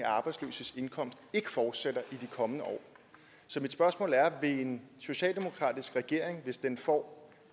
arbejdsløses indkomst ikke fortsætter i de kommende år så mit spørgsmål er vil en socialdemokratisk regering hvis den får